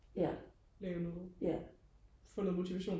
lave noget få noget motivation